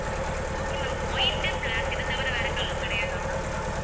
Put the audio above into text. okay ma'am white black இது தவிர வேற colour கிடையாதா ma'am